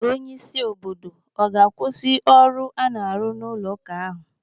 Onye isi obodo ọ ga-akwụsị ọrụ a na-arụ n'ụlọ ụka ahụ?